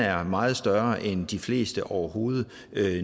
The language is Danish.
er meget større end de fleste overhovedet